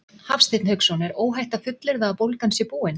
Hafsteinn Hauksson: Er óhætt að fullyrða að bólgan sé búin?